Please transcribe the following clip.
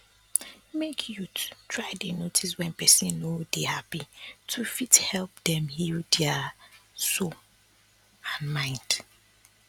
make youth try dey notice wen person no dey happy to fit help dem heal dia sould and mind